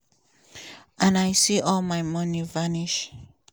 and i see all my money vanish.